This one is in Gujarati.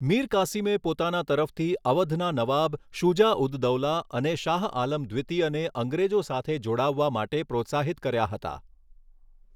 મીર કાસિમે પોતાના તરફથી અવધના નવાબ શુજા ઉદ દૌલા અને શાહઆલમ દ્વિતીયને અંગ્રેજો સાથે જોડાવવા માટે પ્રોત્સાહિત કર્યા હતા.